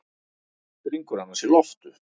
Springur annars í loft upp.